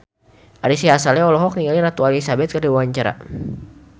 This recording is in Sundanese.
Ari Sihasale olohok ningali Ratu Elizabeth keur diwawancara